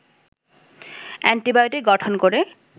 antibiotic গঠন করে